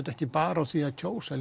ekki bara á því að kjósa